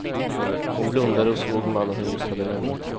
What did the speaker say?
Hon blundade och såg mannen hon just hade lämnat.